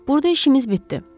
Burda işimiz bitdi.